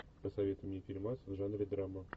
посоветуй мне фильмас в жанре драма